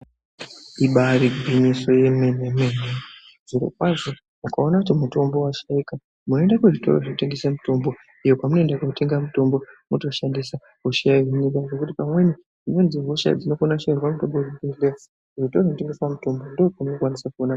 Ibari gwinyiso yemene-mene zvirokwazvo ukaona kuti mutombo vashaika munoende kuzvitoro zvinotengese mutombo. Kwamunoenda kotenga mutombo votoshandisa hosha yohinika zvekuti pamweni dzimweni dzehosha dzinokona kushairwa mutombo vekuzvibhedhleya kuzvitoro zvinotengeswa mitombo ndokwaunokwanisa kuona.